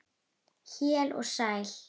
Heill og sæll!